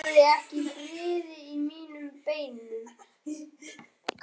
Ég hafði ekki frið í mínum beinum.